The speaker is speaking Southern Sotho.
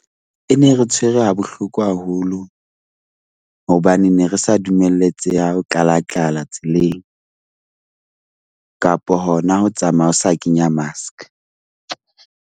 E ne re tshwere ha bohloko haholo hobane ne re sa dumelletseha ho tlala-tlala tseleng kapa hona ho tsamaya o sa kenya mask .